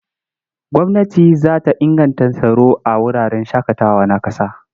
Gwamnati za ta inganta tsaro a wuraren shaƙatawa na ƙasa.